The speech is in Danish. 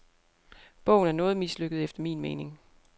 Bogen er noget mislykket efter min mening.